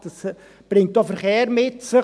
Das bringt auch Verkehr mit sich.